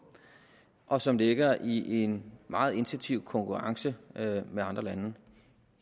og som ligger i en meget intensiv konkurrence med med andre lande